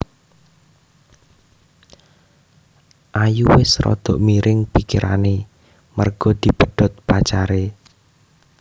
Ayu wes rodo miring pikirane merga dipedhot pacare